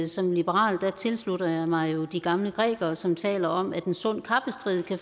som liberal tilslutter jeg mig jo de gamle grækere som taler om at en sund kappestrid